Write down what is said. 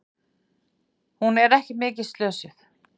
Hún er ekki mikið slösuð.